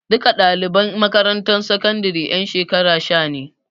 Duka ɗaliban makarantar sakandaren ƴan shekara sha ne.